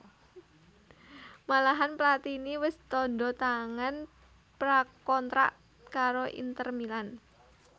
Malahan Platini wis tandha tangan pra kontrak karo Inter Milan